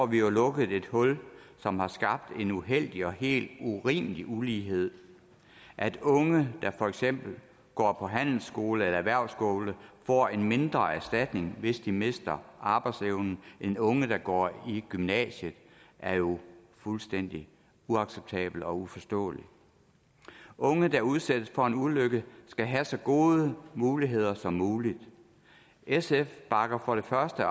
vi jo lukket et hul som har skabt en uheldig og helt urimelig ulighed at unge der for eksempel går på handelsskole eller erhvervsskole får en mindre erstatning hvis de mister arbejdsevnen end unge der går i gymnasiet er jo fuldstændig uacceptabelt og uforståeligt unge der udsættes for en ulykke skal have så gode muligheder som muligt sf bakker for det første